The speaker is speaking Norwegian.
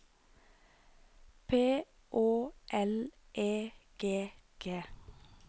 P Å L E G G